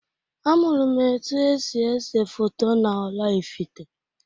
Amụrụm etu esi ese foto na-Oraifite.